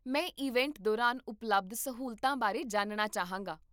ਮੈਂ ਇਵੈਂਟ ਦੌਰਾਨ ਉਪਲਬਧ ਸਹੂਲਤਾਂ ਬਾਰੇ ਜਾਣਨਾ ਚਾਹਾਂਗਾ